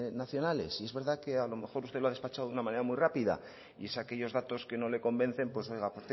rankings nacionales y es verdad que a lo mejor usted lo ha despachado de una manera muy rápida y es aquellos datos que no le convencen pues oiga